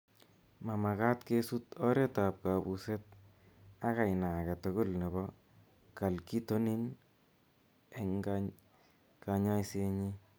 mamagat kesut oret ab kabuseet ak aina age tugul nebo Calcitonin eng' kanyaiseenyi